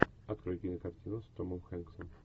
открой кинокартину с томом хэнксом